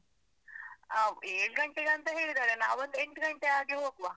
ಅಹ್‌ ಏಳ್ ಗಂಟೆಗ್ ಅಂತ ಹೇಳಿದಾರೆ. ನಾವ್ ಒಂದ್ ಎಂಟ್ ಗಂಟೆ ಹಾಗೆ ಹೋಗುವ.